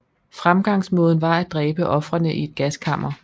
Fremgangsmåden var at dræbe ofrene i et gaskammer